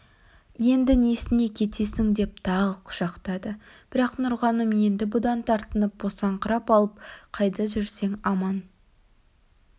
енді несіне кетесің деп тағы құшақтады бірақ нұрғаным енді бұдан тартынып босаңқырап алып қайда жүрсең аман